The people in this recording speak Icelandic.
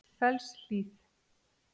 Fellshlíð